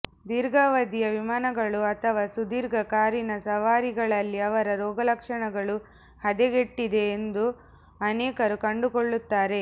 ದೀರ್ಘಾವಧಿಯ ವಿಮಾನಗಳು ಅಥವಾ ಸುದೀರ್ಘ ಕಾರಿನ ಸವಾರಿಗಳಲ್ಲಿ ಅವರ ರೋಗಲಕ್ಷಣಗಳು ಹದಗೆಟ್ಟಿದೆ ಎಂದು ಅನೇಕರು ಕಂಡುಕೊಳ್ಳುತ್ತಾರೆ